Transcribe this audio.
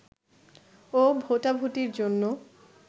ও ভোটাভুটির জন্য